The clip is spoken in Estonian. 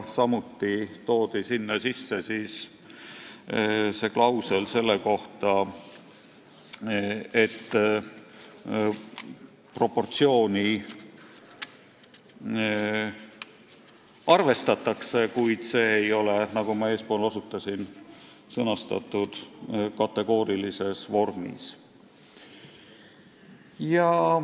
Samuti toodi sinna sisse klausel, et proportsiooni arvestatakse, kuid see ei ole, nagu ma eespool osutasin, sõnastatud kategoorilises vormis.